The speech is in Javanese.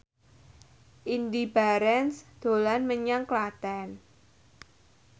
Indy Barens dolan menyang Klaten